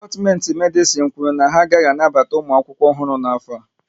Dipatimenti Medisin kwụrụ na ha agaghị anabata ụmụ akwụkwọ ọhụrụ n'afọ a